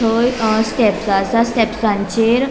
थंय स्टेप्स आसा स्टेप्सचेर .